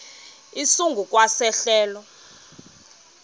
esingu kwa sehlelo